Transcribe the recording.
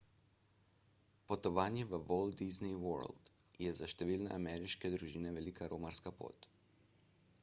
potovanje v walt disney world je za številne ameriške družine velika romarska pot